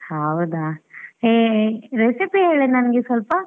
ಹೌದಾ ಹೇ recipe ಹೇಳೇ ನನ್ಗೆ ಸ್ವಲ್ಪ.